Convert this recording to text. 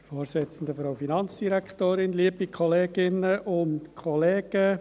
Vielen Dank, wenn sie diese Anträge auch ablehnen.